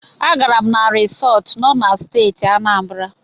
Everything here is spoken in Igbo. A gaara m na risọt nọ na Steeti Anambara.